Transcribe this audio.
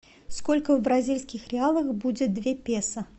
сколько в бразильских реалах будет две песо